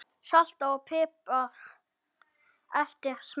Saltað og piprað eftir smekk.